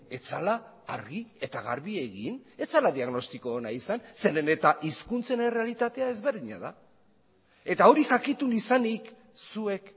ez zela argi eta garbi egin ez zela diagnostiko ona izan zeren eta hizkuntzen errealitatea ezberdina da eta hori jakitun izanik zuek